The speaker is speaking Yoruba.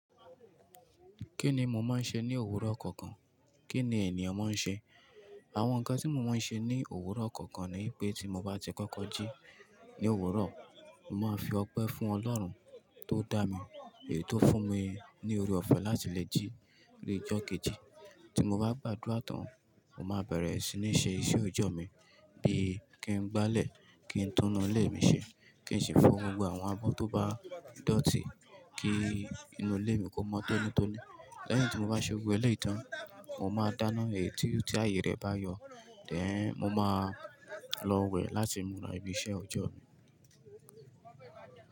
Kí ni mo máa ń ṣe ní òwúrọ̀ kọ̀ọ̀kan? Kí ni ènìyàn máa ń ṣe? Àwọn nǹkan tí mo máa ń ṣe ní òwúrọ̀ kọ̀ọ̀kan ni pé tí mo bá ti kọ́kọ́ jí ní òwúrọ̀, màá fi ọpẹ́ fún Ọlọ́run tó dá mi, èyí tó fún mi ní òrè ọ̀fẹ́ láti lè jí ni ojo keji. Tí mo bá gbá adura tàn, mo máa bẹ̀rẹ̀ sí ní ṣe iṣẹ́ òjọ́ mi bíi kí n gbálẹ̀, kí n tún inú ilé mi ṣe, kí n ṣe fọ gbogbo àwọn abọ́ tó bá dòtí, kí inú ilé mi kó mọ́ tónítóní. Lẹ́yìn tí mo bá ṣe gbo gbo èleyii tán, mo máa dáná èyí ti aye rẹ bá yọ, then mo máa lọ wẹ̀ láti múra ibi iṣẹ́ ọjọ́